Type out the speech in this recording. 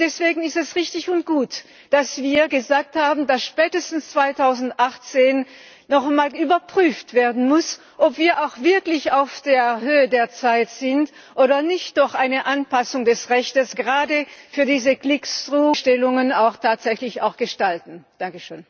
Deswegen ist es richtig und gut, dass wir gesagt haben, dass spätestens 2018 noch einmal überprüft werden muss, ob wir auch wirklich auf der Höhe der Zeit sind oder ob wir nicht doch eine Anpassung des Rechts gerade für diese Bestellungen auch tatsächlich gestalten müssen.